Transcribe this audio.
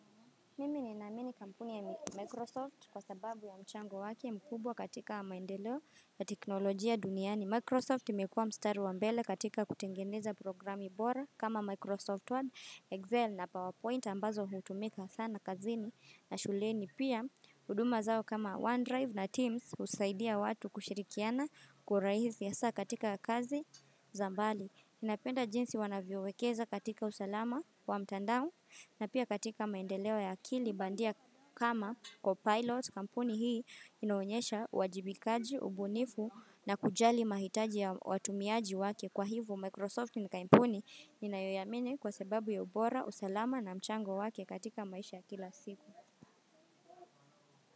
Mimi ni naamini kampuni ya Microsoft kwa sababu ya mchango wakia mkubwa katika wa maendeleo ya teknolojia duniani. Microsoft imekua mstari wa mbele katika kutengeneza programu bora kama Microsoft Word, Excel na PowerPoint ambazo hutumika sana kazini na shuleni. Pia, huduma zao kama OneDrive na Teams husaidia watu kushirikiana kurahizi hasaa katika kazi zambali. Napenda jinsi wanaviowekeza katika usalama wa mtandao na pia katika maendelewa ya akili bandia kama kwa pilot kampuni hii inoenyesha wajibikaji, ubunifu na kujali mahitaji ya watumiaji wake kwa hivyo Microsoft ni kampuni ninayoiamini kwa sababu ya ubora, usalama na mchango wake katika maisha ya kila siku.